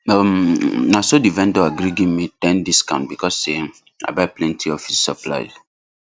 um naso the vendor agree give me ten discount because sey i buy plenty office supplies